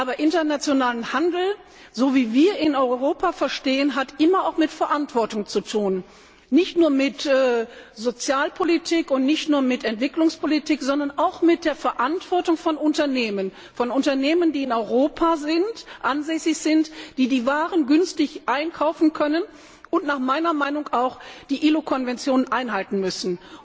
Aber internationaler Handel, so wie wir ihn in Europa verstehen, hat immer auch mit Verantwortung zu tun, nicht nur mit Sozialpolitik und nicht nur mit Entwicklungspolitik, sondern auch mit der Verantwortung von Unternehmen, von Unternehmen, die in Europa ansässig sind, die die Waren günstig einkaufen können und meiner Meinung nach auch die ILO Konventionen einhalten müssen.